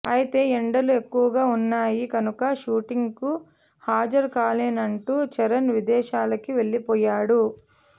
అయితే ఎండలు ఎక్కువగా వున్నాయి కనుక షూటింగ్కి హాజరు కాలేనంటూ చరణ్ విదేశాలకి వెళ్లిపోయాడు